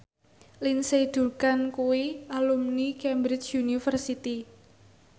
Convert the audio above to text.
Lindsay Ducan kuwi alumni Cambridge University